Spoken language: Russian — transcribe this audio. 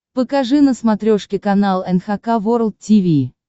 покажи на смотрешке канал эн эйч кей волд ти ви